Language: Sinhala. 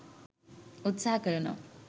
උත්සහ කරනවා.